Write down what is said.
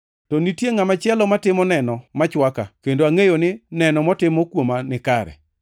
To nitie ngʼama chielo matimo neno ma chwaka, kendo angʼeyo ni neno motimo kuoma nikare.